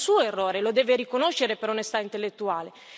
Questo è un suo errore, e lo deve riconoscere per onestà intellettuale.